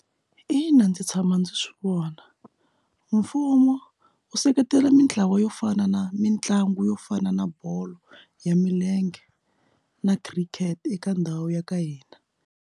Ina ndzi tshama ndzi swi vona mfumo u seketela mintlawa yo fana na mitlangu yo fana na bolo ya milenge na cricket eka ndhawu ya ka hina.